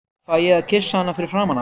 Fæ ég að kyssa hana fyrir framan alla?